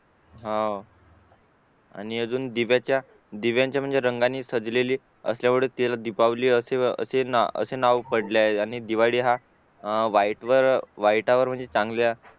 हाव आणि अजून दिव्याच्या आणि दिव्याच्या रंगानी सजलेले दीपावली असे नाव पडले आहे आणि दिवाळी हा वाईटवर वाईटावर चांगल्या